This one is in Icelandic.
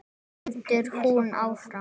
heldur hún áfram.